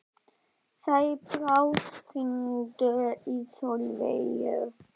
Sæbrá, hringdu í Solveigu.